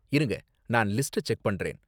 இருங்க, நான் லிஸ்ட்ட செக் பண்றேன்.